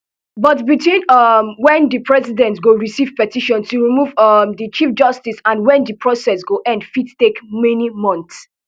but between um wen di president go receive petition to remove um di chief justice and when di process go end fit take many months